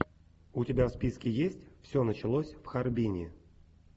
у тебя в списке есть все началось в харбине